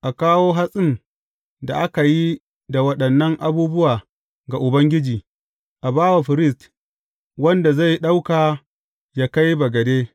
A kawo hatsin da aka yi da waɗannan abubuwa ga Ubangiji; a ba wa firist wanda zai ɗauka yă kai bagade.